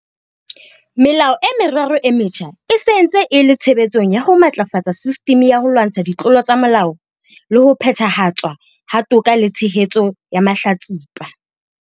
Melao e meraro e metjha e se e ntse e le tshebetsong ya ho matlafatsa sistimi ya ho lwantsha ditlolo tsa molao le ho phethahatswa ha toka le tshehetso ya mahlatsipa.